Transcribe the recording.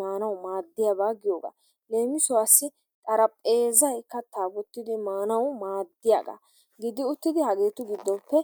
maanawu maadiyaaba giyoogaa. Leemisuwaasi xarapheezzay kaattaa woottidi maanawu maaddiyaagaa. Gidi uttidi haagetu giddoppe